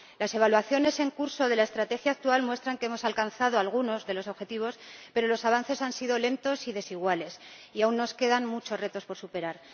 Las evaluaciones en curso de la estrategia actual muestran que hemos alcanzado algunos de los objetivos, pero los avances han sido lentos y desiguales, y aún nos quedan muchos retos por superar.